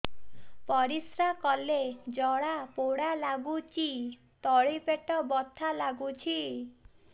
ପରିଶ୍ରା କଲେ ଜଳା ପୋଡା ଲାଗୁଚି ତଳି ପେଟ ବଥା ଲାଗୁଛି